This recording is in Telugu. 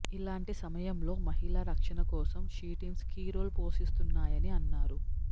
ఇలాంటి సమయంలో మహిళ రక్షణ కోసం షీ టీమ్స్ కీ రోల్ పోషిస్తున్నాయని అన్నారు